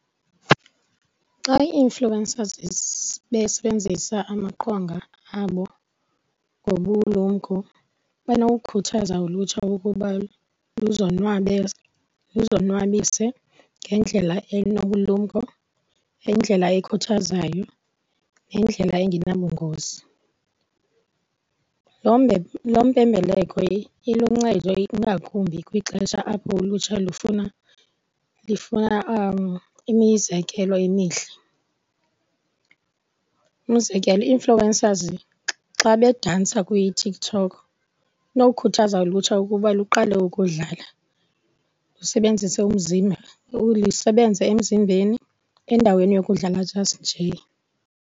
Xa ii-influencers besebenzisa amaqonga abo ngobulumko banokukhuthaza ulutsha ukuba luzonwabise ngendlela enobulumko, ngendlela ekhuthazayo, ngendlela engenabungozi. Lo mpembeleko iluncedo ingakumbi kwixesha apho ulutsha lufuna imizekelo imihle. U,mzekelo ii-influencers xa bedansa kwiTikTok kunokukhuthaza ulutsha ukuba luqale ukudlala, lusebenzise umzimba, lisebenze emzimbeni endaweni yokudlala just njee.